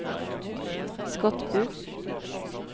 Skotbu